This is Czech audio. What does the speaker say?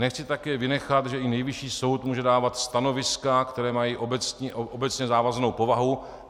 Nechci také vynechat, že i Nejvyšší soud může dávat stanoviska, která mají obecně závaznou povahu.